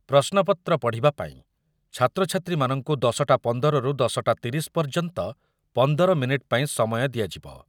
ପ୍ରଶ୍ନପତ୍ର ପଢ଼ିବା ପାଇଁ ଛାତ୍ରଛାତ୍ରୀମାନଙ୍କୁ ଦଶଟା ପନ୍ଦରରୁ ଦଶଟା ତିରିଶ ପର୍ଯ୍ୟନ୍ତ ପନ୍ଦର ମିନିଟ୍ ପାଇଁ ସମୟ ଦିଆଯିବ ।